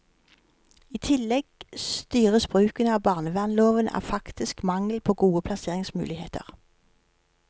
I tillegg styres bruken av barnevernloven av faktisk mangel på gode plasseringsmuligheter.